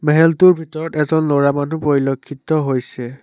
মেহেলটোৰ ভিতৰত এজন ল'ৰা মানুহ পৰিলেক্ষিত হৈছে।